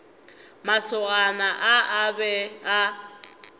masogana a a be a